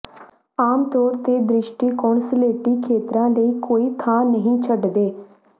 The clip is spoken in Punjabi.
ਆਮਤੌਰ ਤੇ ਦ੍ਰਿਸ਼ਟੀਕੋਣ ਸਲੇਟੀ ਖੇਤਰਾਂ ਲਈ ਕੋਈ ਥਾਂ ਨਹੀਂ ਛੱਡਦੇ